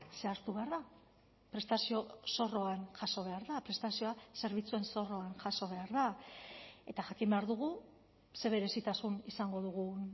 zehaztu behar da prestazio zorroan jaso behar da prestazioa zerbitzuen zorroan jaso behar da eta jakin behar dugu ze berezitasun izango dugun